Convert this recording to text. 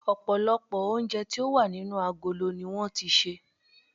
Òpòlòpò oúnje tí o wà nínú agolo ni won ti sè